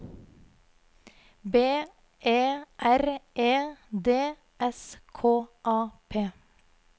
B E R E D S K A P